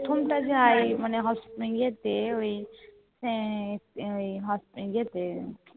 প্রথম টা যে আই মানে যে তে